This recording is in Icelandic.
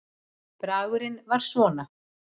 Bragurinn var svona